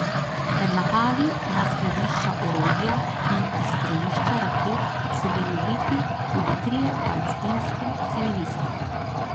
Med napadi na skladišča orožja in izstrelišča raket so bili ubiti tudi trije palestinski civilisti.